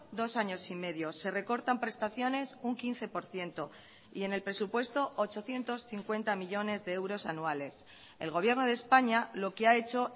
dos años y medio se recortan prestaciones un quince por ciento y en el presupuesto ochocientos cincuenta millónes de euros anuales el gobierno de españa lo que ha hecho